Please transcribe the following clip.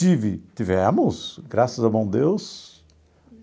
Tive, tivemos, graças ao bom Deus.